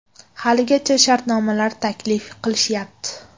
Haligacha shartnomalar taklif qilishyapti.